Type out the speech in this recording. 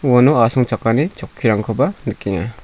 uano asongchakani chokkirangkoba nikenga.